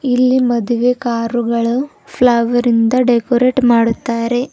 ಇಲ್ಲಿ ಮದುವೆ ಕಾರುಗಳು ಫ್ಲವರಿಂದ ಡೆಕೋರೇಟ್ ಮಾಡುತ್ತಾರೆ.